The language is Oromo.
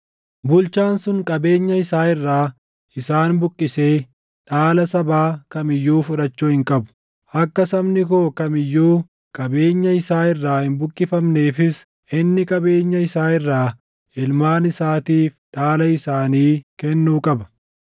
Bulchaan sun qabeenya isaa irraa isaan buqqisee dhaala sabaa kam iyyuu fudhachuu hin qabu. Akka sabni koo kam iyyuu qabeenya isaa irraa hin buqqifamneefis inni qabeenya isaa irraa ilmaan isaatiif dhaala isaanii kennuu qaba.’ ”